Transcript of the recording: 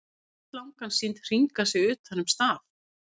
Oft er slangan sýnd hringa sig utan um staf.